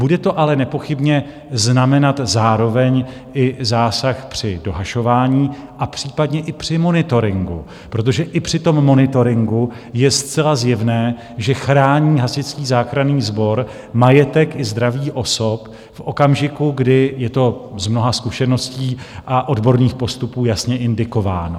Bude to ale nepochybně znamenat zároveň i zásah při dohašování a případně i při monitoringu, protože i při tom monitoringu je zcela zjevné, že chrání Hasičský záchranný sbor majetek i zdraví osob v okamžiku, kdy je to z mnoha zkušeností a odborných postupů jasně indikováno.